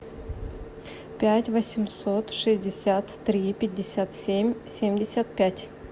пять восемьсот шестьдесят три пятьдесят семь семьдесят пять